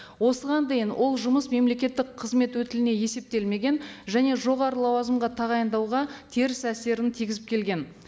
осыған дейін ол жұмыс мемлекеттік қызмет өтіліне есептелмеген және жоғары лауазымға тағайындауға теріс әсерін тигізіп келген